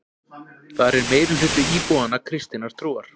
Þar er meirihluti íbúanna kristinnar trúar